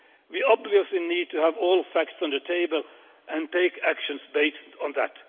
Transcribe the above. We obviously need to have all facts on the table and take actions based on that.